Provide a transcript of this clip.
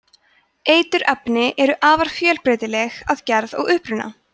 eiturefni eru afar fjölbreytileg að gerð og uppruna